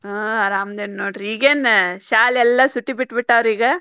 ಹು ಆರಾಮದೇನಿ ನೋಡ್ರಿ ಈಗೇನ್ ಶಾಲೆಲ್ಲಾ ಸೂಟಿ ಬಿಟ್ಟ್ ಬಿಟ್ಟಾವ್ರಿ ಈಗ.